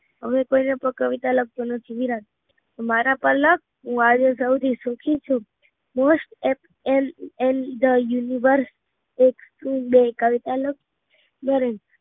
હવે કોઈ ના પર કવિતા લખતો નથી વિરાટ, મારા પર લાખ આજે હું સૌથી સુખી છું most l the universal Naren